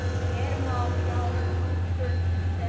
Hér má sjá nokkur þeirra.